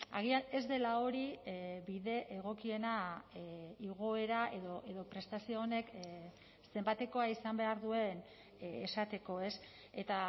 agian ez dela hori bide egokiena igoera edo prestazio honek zenbatekoa izan behar duen esateko ez eta